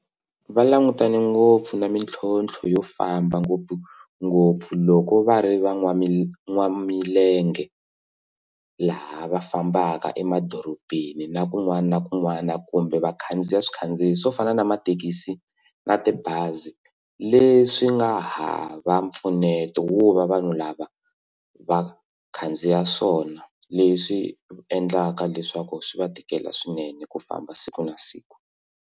Va langutane ngopfu na mintlhontlho yo famba ngopfungopfu loko va ri va n'wamilenge laha va fambaka emadorobeni na kun'wana na kun'wana kumbe vakhandziya swikhandziyi swo fana na mathekisi na tibazi leswi nga hava mpfuneto wo va vanhu lava vakhandziya swona leswi endlaka leswaku swi va tikela swinene ku famba siku na siku.